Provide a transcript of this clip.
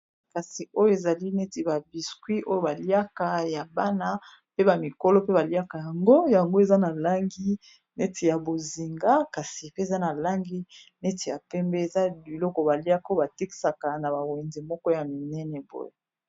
Kasi oyo ezali neti ba biscuit oyo baliaka ya bana pe ba mikolo pe baliaka yango eza na langi neti ya bozinga kasi pe eza na langi neti ya pembe eza biloko baliaka oyo batekisaka na ba wenze moko ya minene boye.